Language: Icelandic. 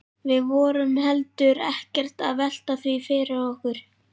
Við vorum heldur ekkert að velta því fyrir okkur.